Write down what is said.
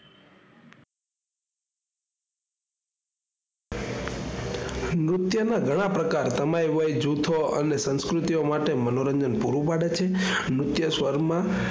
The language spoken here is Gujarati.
નૃત્ય ના ઘણા પ્રકાર તમય હોય, જૂથો અને સંસ્કૃતિઓ માટે મનોરંજન પૂરું પાડે છે. નૃત્ય સ્વર માં